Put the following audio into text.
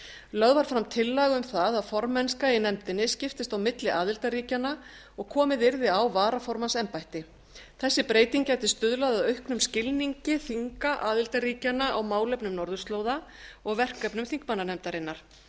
lögð var fram tillaga um það að formennska í nefndinni skiptist á milli aðildarríkjanna og komið yrði á varaformannsembætti þessi breyting gæti stuðlað að auknum skilningi þinga aðildarríkjanna á málefnum norðurslóða og verkefnum þingmannanefndarinnar